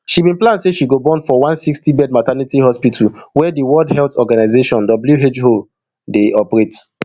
she bin plan say she go born for one sixtybed maternity hospital wey di world health organization who dey operate